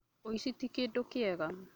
Ũici tĩ kĩndũkĩega